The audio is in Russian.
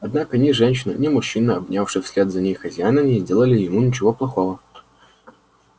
однако ни женщина ни мужчина обнявший вслед за ней хозяина не сделали ему ничего плохого